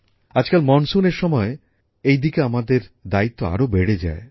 আজকাল বর্ষার সময় এই ব্যাপারে আমাদের দায়িত্ত্ব আরো বেড়ে যায়